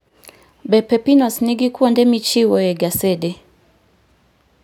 Be pepinos nigi kuonde michiwoe gasede?